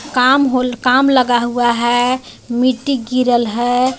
काम होल काम लगा हुआ है मिट्टी गिरल है.